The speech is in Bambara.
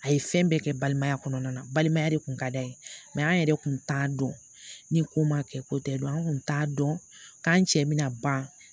A ye fɛn bɛɛ kɛ balimaya kɔnɔna na balimaya de kun ka d'a ye an yɛrɛ kun t'a dɔn ni ko ma kɛ ko tɛ dɔn an tun t'a dɔn k'an cɛ bɛna ban